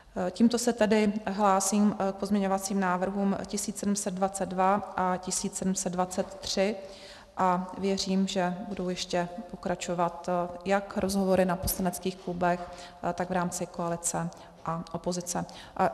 Tímto se tedy hlásím k pozměňovacím návrhům 1722 a 1723 a věřím, že budou ještě pokračovat jak rozhovory na poslaneckých klubech, tak v rámci koalice a opozice.